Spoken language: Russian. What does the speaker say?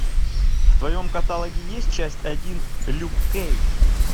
в твоем каталоге есть часть один люк кейдж